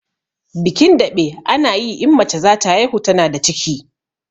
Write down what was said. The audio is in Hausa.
Bikin daɓe ana yi in mace zata haihu tana da ciki